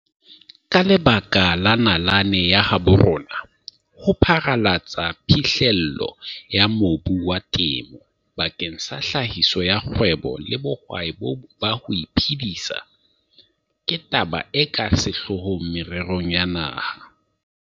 Ka lebaka la nalane ya habo rona, ho pharalatsa phihlello ya mobu wa temo bakeng sa tlhahiso ya kgwebo le bohwai ba ho iphedisa ke taba e ka sehlohlolong mererong ya naha.